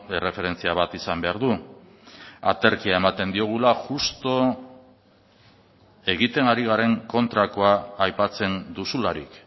erreferentzia bat izan behar du aterkia ematen diogula justu egiten ari garen kontrakoa aipatzen duzularik